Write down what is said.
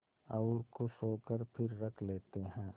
और खुश होकर फिर रख लेते हैं